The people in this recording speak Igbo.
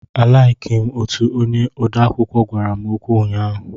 A laiki m utu onye odeakwụkwọ gwara m okwu ụnyaahụ.